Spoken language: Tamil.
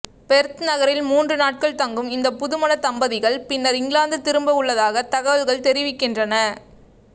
பெர்த் நகரில் மூன்று நாட்கள் தங்கும் இந்த புதுமண தம்பதிகள் பின்னர் இங்கிலாந்து திரும்ப உள்ளதாக தகவல்கள் தெரிவிக்கின்றன